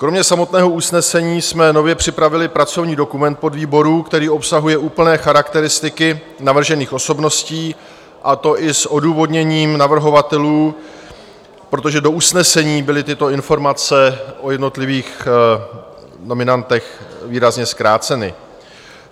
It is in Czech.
Kromě samotného usnesení jsme nově připravili pracovní dokument podvýboru, který obsahuje úplné charakteristiky navržených osobností, a to i s odůvodněním navrhovatelů, protože do usnesení byly tyto informace o jednotlivých nominantech výrazně zkráceny.